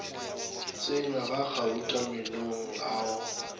tsenywa ga gauta meenong ao